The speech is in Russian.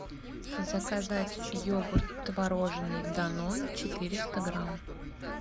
заказать йогурт творожный данон четыреста грамм